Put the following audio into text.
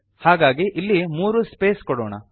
ಹಾಗಾಗಿ ಇಲ್ಲಿ ಮೂರು ಸ್ಪೇಸ್ ಕೊಡೋಣ